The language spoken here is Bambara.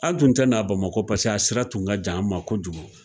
A tun tɛ n'a bamakɔ paseke a sira tun ka j'an ma kojugu